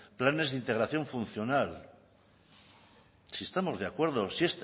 planes de integración funcional si estamos de acuerdo si